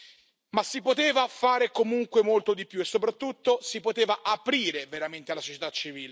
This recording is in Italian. Ma si poteva fare, comunque, molto di più e soprattutto si poteva aprire veramente alla società civile.